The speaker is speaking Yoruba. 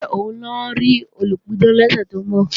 Ṣé òun lọ rí olùpidán lọ́sẹ̀ tó ń bọ̀?